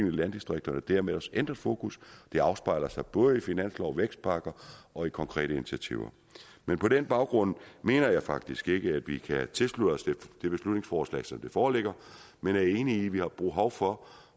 i landdistrikterne og dermed også ændret fokus det afspejler sig både i finanslov og vækstpakker og i konkrete initiativer men på den baggrund mener jeg faktisk ikke at vi kan tilslutte os det beslutningsforslag som det foreligger men er enige i at vi har behov for